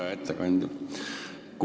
Hea ettekandja!